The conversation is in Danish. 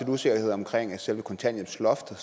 usikkerhed om selve kontanthjælpsloftet